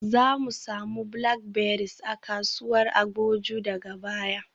Zamu samu blackberries a kasuwar Agboju daga baya.